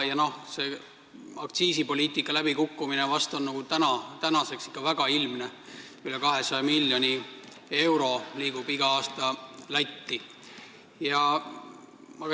Ja aktsiisipoliitika läbikukkumine on tänaseks väga ilmne, sest üle 200 miljoni euro liigub iga aasta Lätti.